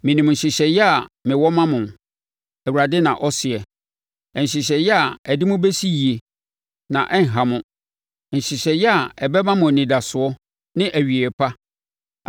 Menim nhyehyɛeɛ a mewɔ ma mo,” Awurade na ɔseɛ, “Nhyehyɛeɛ a ɛde mo bɛsi yie na ɛrenha mo, nhyehyɛeɛ a ɛbɛma mo anidasoɔ ne awieeɛ pa.